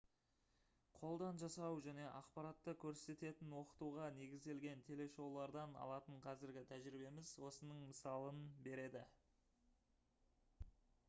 қолдан жасау және ақпаратты көрсететін оқытуға негізделген телешоулардан алатын қазіргі тәжірибеміз осының мысалын береді